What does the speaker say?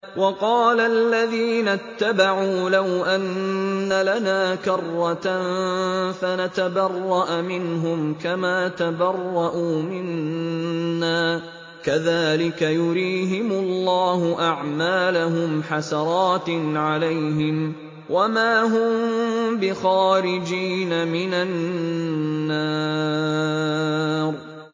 وَقَالَ الَّذِينَ اتَّبَعُوا لَوْ أَنَّ لَنَا كَرَّةً فَنَتَبَرَّأَ مِنْهُمْ كَمَا تَبَرَّءُوا مِنَّا ۗ كَذَٰلِكَ يُرِيهِمُ اللَّهُ أَعْمَالَهُمْ حَسَرَاتٍ عَلَيْهِمْ ۖ وَمَا هُم بِخَارِجِينَ مِنَ النَّارِ